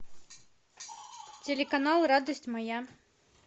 телеканал радость моя